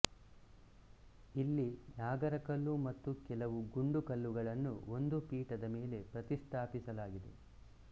ಇಲ್ಲಿ ನಾಗರಕಲ್ಲು ಮತ್ತು ಕೆಲವು ಗುಂಡು ಕಲ್ಲುಗಳನ್ನು ಒಂದು ಪೀಠದ ಮೇಲೆ ಪ್ರತಿಷ್ಠಾಪಿಸಲಾಗಿದೆ